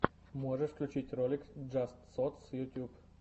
можешь включить ролик джаст сотс ютуб